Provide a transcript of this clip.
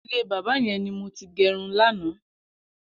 Ilé bàbà yẹn ni mó ti gẹrún làná